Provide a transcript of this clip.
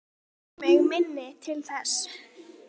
Ekki rekur mig minni til þess.